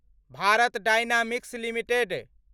Bharat dynamics limited